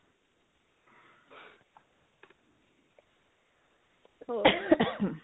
ਹੋਰ